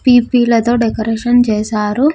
పీ_పీ లతో డెకరేషన్ చేశారు.